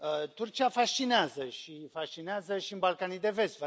Turcia fascinează și fascinează și în Balcanii de Vest.